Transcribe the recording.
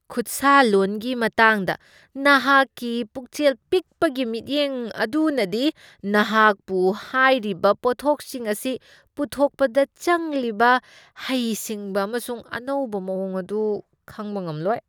ꯈꯨꯠꯁꯥꯂꯣꯟꯒꯤ ꯃꯇꯥꯡꯗ ꯅꯍꯥꯛꯀꯤ ꯄꯨꯛꯆꯦꯜ ꯄꯤꯛꯄꯒꯤ ꯃꯤꯠꯌꯦꯡ ꯑꯗꯨꯅꯗꯤ ꯅꯍꯥꯛꯄꯨ ꯍꯥꯏꯔꯤꯕ ꯄꯣꯠꯊꯣꯛꯁꯤꯡ ꯑꯁꯤ ꯄꯨꯊꯣꯛꯄꯗ ꯆꯪꯂꯤꯕ ꯍꯩꯁꯤꯡꯕ ꯑꯃꯁꯨꯡ ꯑꯅꯧꯕ ꯃꯋꯣꯡ ꯑꯗꯨ ꯈꯪꯕ ꯉꯝꯂꯣꯏ ꯫